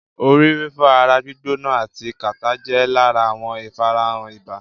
Orí fífọ́, ara gbîgbóná ati kàtá jẹ́ lára àwọn ìfarahàn ibà.